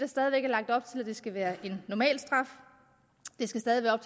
at op til at det skal være en normalstraf det skal stadig være